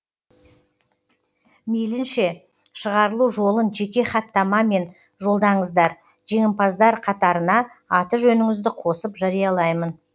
мейлінше шығарылу жолын жеке хаттамамен жолдаңыздар жеңімпаздар қатарына аты жөніңізді қосып жариялаймын